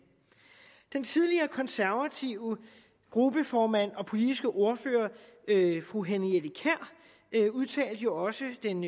den tidligere konservative gruppeformand og politiske ordfører fru henriette kjær udtalte jo også den